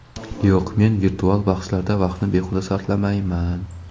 Yo‘q, men virtual bahslarda vaqtni behuda sarflamayman.